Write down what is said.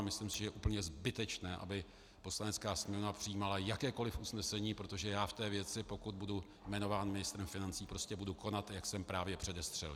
A myslím si, že je úplně zbytečné, aby Poslanecká sněmovna přijímala jakékoliv usnesení, protože já v té věci, pokud budu jmenován ministrem financí, prostě budu konat, jak jsem právě předestřel.